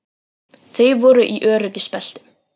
Þau voru í öryggisbeltum